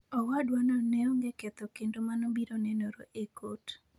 Owadwano neonge ketho kendo mano biro nenore e kot.